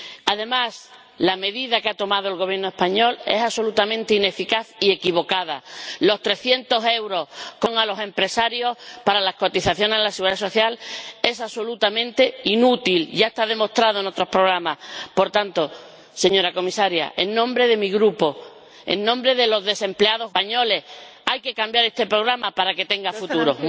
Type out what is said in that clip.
Además, la medida que ha tomado el Gobierno español es absolutamente ineficaz y equivocada. La bonificación de 300 euros a los empresarios para la cotización a la seguridad social es absolutamente inútil, ya está demostrado en otros programas. Por tanto, señora Comisaria, en nombre de mi grupo, en nombre de los desempleados jóvenes españoles, hay que cambiar este programa para que tenga futuro.